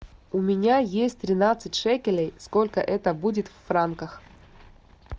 у меня есть тринадцать шекелей сколько это будет в франках